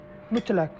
Mütləq.